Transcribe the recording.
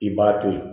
I b'a to ye